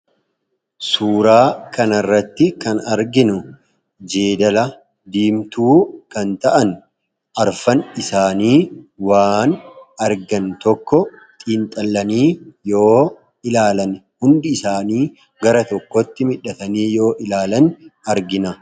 Suuraa kanarratti kan arginu jeedala diimtuu kan ta'an arfan isaanii waan argan tokko xiinxalanii yoo ilaalan hundi isaanii gara tokkotti mildhatanii yoo ilaalan argina.